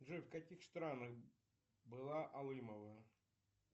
джой в каких странах была алымова